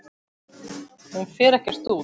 Hún fer ekkert út!